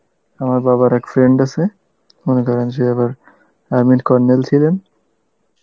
আমার বাবার accident হয়েসে মনে করেন যে আবার army র colonel ছিলেন